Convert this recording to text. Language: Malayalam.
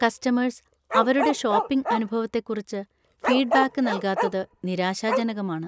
കസ്റ്റമേഴ്സ് അവരുടെ ഷോപ്പിംഗ് അനുഭവത്തെക്കുറിച്ച് ഫീഡ്ബാക്ക് നൽകാത്തത് നിരാശാജനകമാണ്.